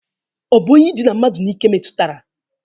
Ọ bụ onye idịna mmadụ n'ike metụtara?